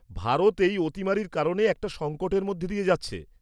ভারত এই অতিমারীর কারণে একটা সংকটের মধ্যে দিয়ে যাচ্ছে।